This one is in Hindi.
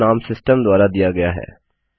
यह नाम सिस्टम द्वारा दिया गया है